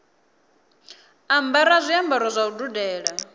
ambara zwiambaro zwa u dudela